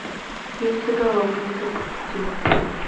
яйцеголовые запусти